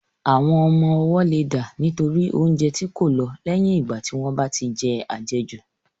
Àwọn ọmọ ọwọ́ leè dà nítorí oúnjẹ tí kò lọ̀ lẹ́yìn ìgbà tí wọ́n bá tí je àjejù.